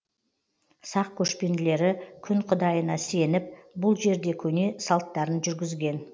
сақ көшпенділері күн құдайына сеніп бұл жерде көне салттарын жүргізген